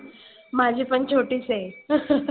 माझी पण छोटीच आहे.